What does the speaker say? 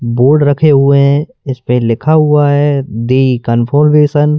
board रखे हुए हैं इस पे लिखा हुआ है द कंफॉर्मेशन--